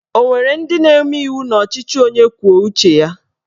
O nwere ndị na-eme iwu n'ọchịchị onye kwuo uche ya?